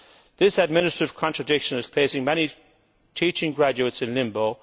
This administrative contradiction is placing many teaching graduates in limbo.